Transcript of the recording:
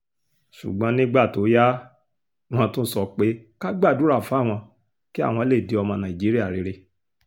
ṣùgbọ́n nígbà tó yá wọ́n tún sọ pé ká gbàdúrà fáwọn kí àwọn lè di ọmọ nàìjíríà rere